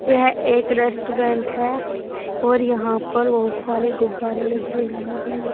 यह एक रेस्टोरेंट है और यहां पर बहोत सारे गुब्बारे लगे हुए हैं।